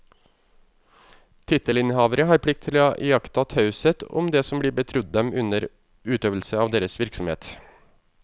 Tittelinnehavere har plikt til å iaktta taushet om det som blir betrodd dem under utøvelse av deres virksomhet.